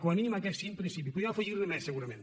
com a mínim aquests cinc principis podríem afegir ne més segurament